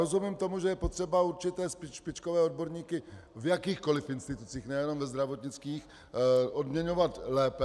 Rozumím tomu, že je potřeba určité špičkové odborníky v jakýchkoliv institucích, nejenom ve zdravotnictví, odměňovat lépe.